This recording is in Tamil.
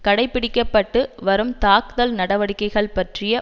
கடைபிடிக்கப்பட்டு வரும் தாக்குதல் நடவடிக்கைகள் பற்றிய